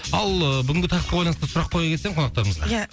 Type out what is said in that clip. ал бүгінгі тақырыпқа байланысты сұрақ қоя кетсең қонақтарымызға ия